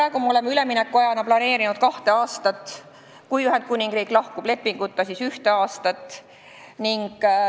Praegu me oleme üleminekuajana planeerinud kahte aastat, kui Ühendkuningriik lahkub lepinguta, siis ühte aastat.